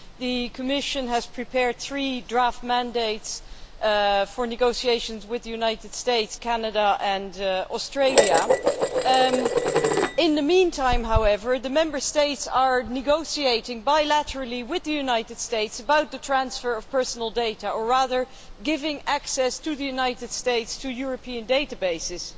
The Commission has prepared three draft mandates for negotiations with the United States, Canada and Australia. In the meantime, however, the Member States are negotiating bilaterally with the United States about the transfer of personal data, or rather, giving the United States access to European databases,